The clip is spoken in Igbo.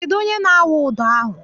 Kedụ onye na-awụ ụdọ ahụ?